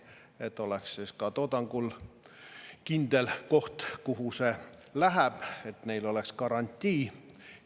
Siis oleks toodangul kindel koht, kuhu see läheb, ja neil oleks garantii.